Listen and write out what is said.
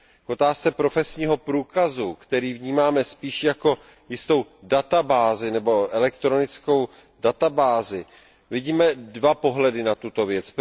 Pokud jde o profesní průkaz, který vnímáme spíš jako jistou databázi nebo elektronickou databázi, vidíme dva pohledy na tuto věc.